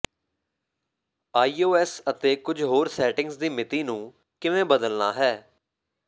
iOS ਅਤੇ ਕੁਝ ਹੋਰ ਸੈਟਿੰਗਜ਼ ਦੀ ਮਿਤੀ ਨੂੰ ਕਿਵੇਂ ਬਦਲਣਾ ਹੈ